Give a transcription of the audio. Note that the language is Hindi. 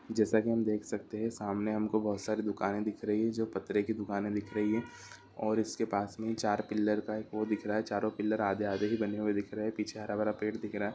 जैसा कि हम देख सकते हैं सामने हमको बहुत सारी दुकानें दिख रही है जो पतरे की दुकानें दिख रही है और उसके पास में ही चार पिल्लर का एक वो दिख रहा है चारों पिल्लर आधे आधे ही बने हुए दिख रहे हैं पीछे हरा-भरा पेड़ दिख रहा है।